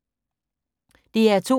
DR2